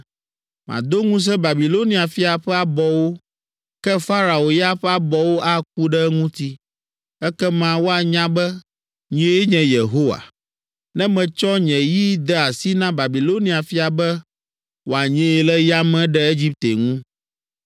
Mado ŋusẽ Babilonia fia ƒe abɔwo, ke Farao ya ƒe abɔwo aku ɖe eŋuti. Ekema woanya be, nyee nye Yehowa, ne metsɔ nye yi de asi na Babilonia fia be woanyee le yame ɖe Egipte ŋu.